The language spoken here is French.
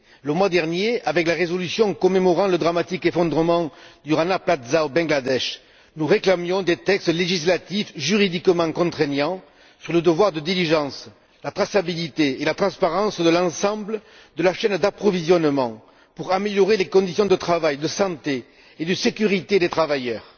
Le mois dernier, avec la résolution commémorant le dramatique effondrement du Rana Plaza au Bangladesh, nous réclamions des textes législatifs juridiquement contraignants sur le devoir de diligence, la traçabilité et la transparence de l'ensemble de la chaîne d'approvisionnement, pour améliorer les conditions de travail, de santé et de sécurité des travailleurs.